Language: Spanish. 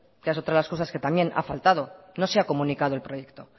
que es otra de las cosas que también ha faltado no se ha comunicado el proyecto